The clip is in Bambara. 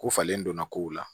Ko falen donna kow la